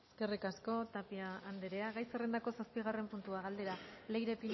eskerrik asko tapia andrea gai zerrendako zazpigarren puntua galdera leire